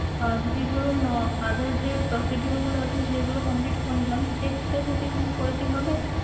আহ যদি ধরুন আহ other যে procedure গুলো আছে সেইগুলো complete করে নিলাম, cheque টা যদি পরে দিই হবে?